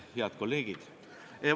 Head kolleegid!